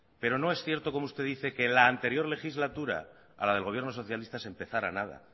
pero no es cierto como usted dice que la anterior legislatura a la del gobierno socialista se empezara nada